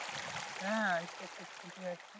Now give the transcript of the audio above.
হ্যাঁ আজকে একটু ছুটি আছে